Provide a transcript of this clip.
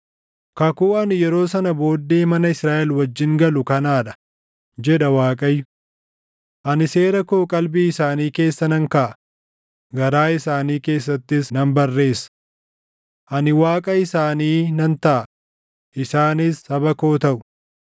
“Kakuun ani yeroo sana booddee mana Israaʼel wajjin galu kanaa dha” jedha Waaqayyo. “Ani seera koo qalbii isaanii keessa nan kaaʼa; garaa isaanii keessattis nan barreessa. Ani Waaqa isaanii nan taʼa; isaanis saba koo taʼu.